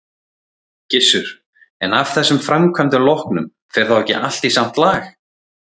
Gissur: En af þessum framkvæmdum loknum, fer þá ekki allt í samt lag?